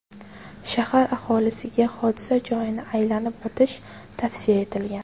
Shahar aholisiga hodisa joyini aylanib o‘tish tavsiya etilgan.